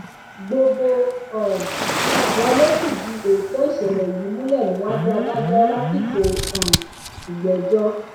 gbogbo um wọn ló fìdí òótọ ìṣẹlẹ yìí múlẹ níwájú adájọ lásìkò um ìgbẹjọ